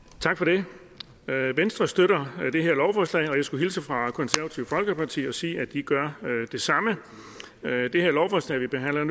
tak for det venstre støtter det her lovforslag og jeg skulle hilse fra det konservative folkeparti og sige at de gør det samme det lovforslag vi behandler